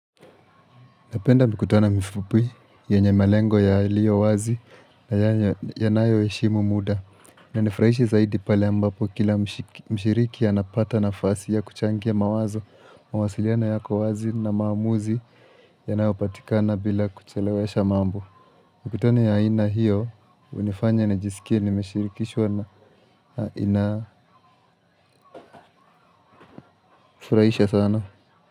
Napenda mikutano mifupu, yenye melengo yaliyo wazi na yanayoheshimu muda. Inanifurahishi zaidi pale ambapo kila mshiriki anapata nafasi ya kuchangia mawazo, mawasiliano yako wazi na maamuzi yanayopatikana bila kuchelewesha mambo. Mikutano ya ina hiyo, hunifanya nijisikie, nimeshirikishwa na inafurahisha sana.